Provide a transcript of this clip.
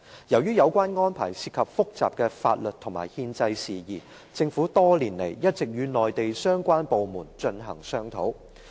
由於有關安排涉及複雜的法律和憲制事宜，政府多年來一直與內地相關部門進行商討。